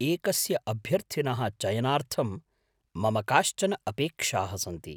एकस्य अभ्यर्थिनः चयनार्थं मम काश्चन अपेक्षाः सन्ति।